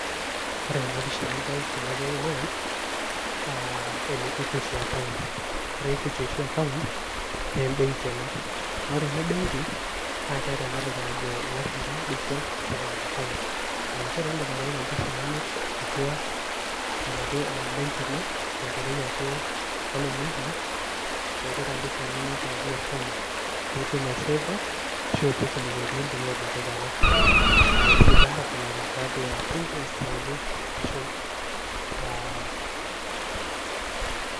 Ore ena pisha nidol tenewei naa, ene Equity account. Ore Equity oshi account ,naa ebenki ena. Dolta ena benki, na keeta enatoki najo ilashumpa digital saving account. Ah njere, idim atipika mpisai inonok atua enaduo benki ino, tenkoitoi ake oloing'ang'e, atipika mpisai nonok enaduo account. Piitum aiseefa, ashu ipik inewei pintumia tenkae kata. Ah kidim taa atoponari tiatua interest naje, ashu ah.